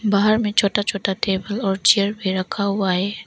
बाहर में छोटा छोटा टेबल और चेयर भी रखा हुआ है।